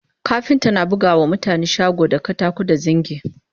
kafinta na buga wa mutane shago da katako da zingi